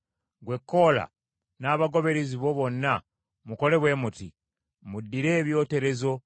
Gwe Koola n’abagoberezi bo bonna mukole bwe muti: Muddire ebyoterezo,